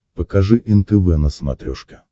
покажи нтв на смотрешке